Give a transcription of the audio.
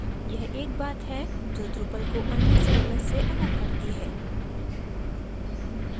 यह एक बात है जो drupal को अन्य cms से अलग करती है